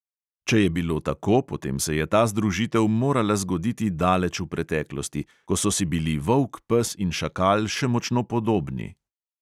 Če je bilo tako, potem se je ta združitev morala zgoditi daleč v preteklosti, ko so si bili volk, pes in šakal še močno podobni.